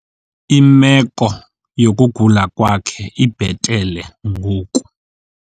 Imeko yokugula kwakhe ibhetele ngoku.